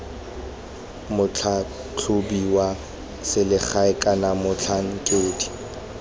motlhatlhobi wa selegae kana motlhankedi